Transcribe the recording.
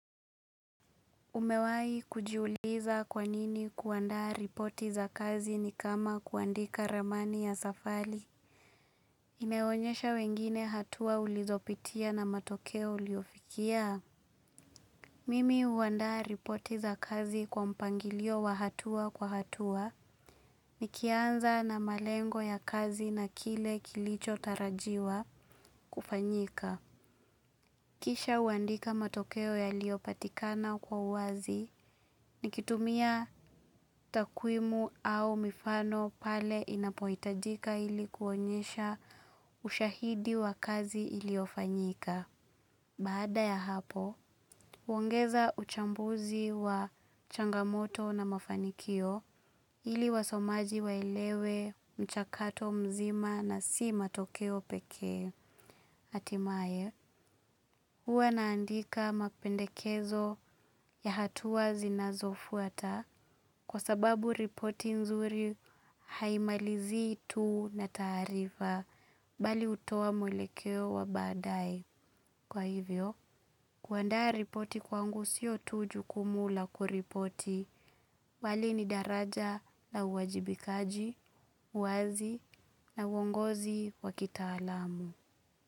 Umewai kujiuliza kwanini kuandaa ripoti za kazi ni kama kuandika ramani ya safari. Imeonyesha wengine hatua ulizopitia na matokeo uliyofikia? Mimi huandaa ripoti za kazi kwa mpangilio wa hatua kwa hatua ni kianza na malengo ya kazi na kile kilicho tarajiwa kufanyika. Kisha huandika matokeo yaliopatikana kwa uwazi ni kitumia takwimu au mifano pale inapohitajika ili kuonyesha ushahidi wa kazi iliyofanyika. Baada ya hapo, huongeza uchambuzi wa changamoto na mafanikio ili wasomaji waelewe mchakato mzima na si matokeo peke hatimaye. Huwa naandika mapendekezo ya hatuwa zinazofuata kwa sababu ripoti nzuri haimalizii tu na taarifa bali hutoa mwelekeo wa baada ye Kwa hivyo, kuandaa ripoti kwangu siyo tu jukumu la kuripoti bali ni daraja la uajibikaji, uwazi na uongozi wa kitaalamu.